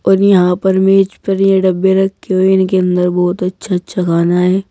और यहां पर मेज पर यह डब्बे रखे हुए हैं इनके अंदर बहोत अच्छा अच्छा खाना है।